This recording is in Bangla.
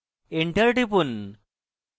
enter টিপুন